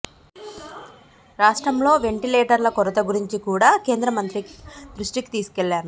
రాష్ట్రంలో వెంటిలేటర్ల కొరత గురించి కూడా కేంద్ర మంత్రి దృష్టికి తీసుకెళ్లాను